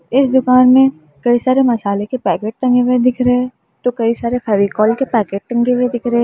इस दुकान में कई सारे मसाले के पैकेट टंगे हुए दिख रहे तो कई सारे फेविकोल के पैकेट टंगे दिख रहे हैं।